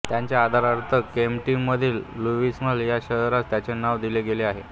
त्याच्या आदरार्थ केंटकीमधील लुईव्हिल ह्या शहरास त्याचे नाव दिले गेले आहे